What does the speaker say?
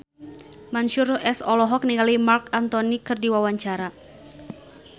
Mansyur S olohok ningali Marc Anthony keur diwawancara